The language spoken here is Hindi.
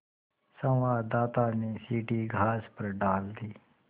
संवाददाता ने सीढ़ी घास पर डाल दी